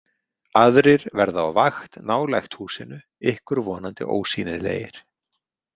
Aðrir verða á vakt nálægt húsinu, ykkur vonandi ósýnilegir.